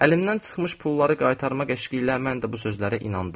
Əlimdən çıxmış pulları qaytarmaq eşqi ilə mən də bu sözlərə inandım.